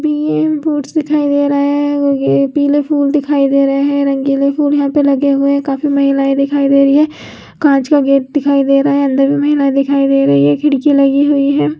म फूड्स दिखाई रहा है पीले फूल दिखाई रहे है रँगीले फूल यहाँ पे लगी हुए है काफी महिलाऐं दिखाई रही है कांच का गेट दिखाई रहे है अंदर भी महिला दिखाई रही है एक खिड़की लगी हुई है।